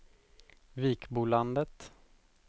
Vikbolandet